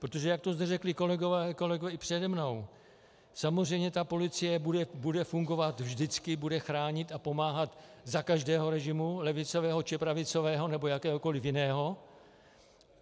Protože jak to zde řekli kolegové i přede mnou, samozřejmě ta policie bude fungovat, vždycky bude chránit a pomáhat za každého režimu, levicového či pravicového nebo jakéhokoli jiného.